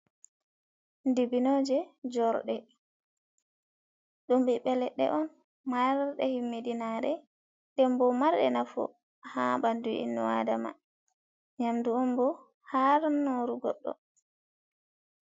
Dibbinoje jorɗe, ɗum ɓiɓɓe ledɗe on marɗe himmidinare, denbo marde nafu ha bandu inu'adama, nyamdu onbo haran'noru godɗo.